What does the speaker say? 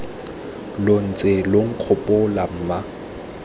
lo ntse lo nkgopola mma